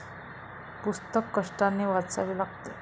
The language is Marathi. पुस्तक कष्टाने वाचावे लागते.